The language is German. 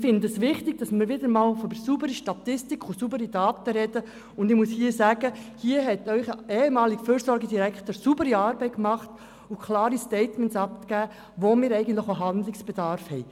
Ich finde es wichtig, dass wir wieder einmal von der sauberen Statistik und den sauberen Daten sprechen, und ich muss hier sagen, hier hat Ihr ehemaliger Fürsorgedirektor saubere Arbeit geleistet und klare Statements abgegeben, nämlich dort, wo wir eigentlich auch Handlungsbedarf haben.